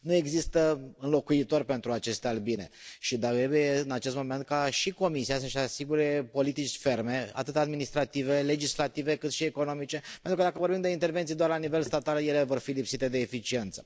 Nu există înlocuitor pentru aceste albine și trebuie în acest moment ca și Comisia să își asigure politici ferme atât administrative, legislative, cât și economice, pentru că dacă vorbim de intervenții doar la nivel statal, ele vor fi lipsite de eficiență.